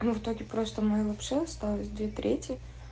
ну в итоге просто мы вообще остались две трети